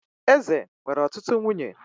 Eze nwere ọtụtụ nwunye